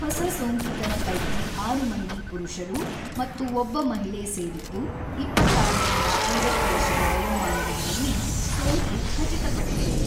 ಹೊಸ ಸೋಂಕಿತರ ಪೈಕಿ ಆರು ಮಂದಿ ಪುರುಷರು ಮತ್ತು ಒಬ್ಬ ಮಹಿಳೆ ಸೇರಿದ್ದು, ಇಪ್ಪತ್ತಾರ ರಿಂದ ಐವತ್ತು ವರ್ಷದ ವಯೋಮಾನದವರಲ್ಲಿ ಸೋಂಕು ಖಚಿತಪಟ್ಟಿದೆ.